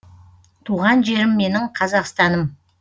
туған жерім менің қазақстаным